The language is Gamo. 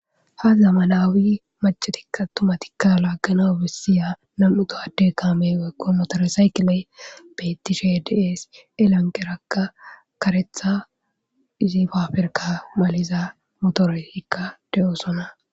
Ha zamanaawi macetikka tumatikka laaggana bessiya nam7u daadde kaamey wekko motoresaykiley bettisdes.elanqqerakka karethaizi paaferka maliza motoroy hikka deyoosona.